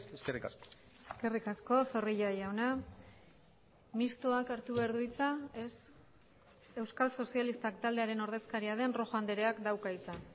eskerrik asko eskerrik asko zorrilla jauna mistoak hartu behar du hitza ez euskal sozialistak taldearen ordezkaria den rojo andreak dauka hitza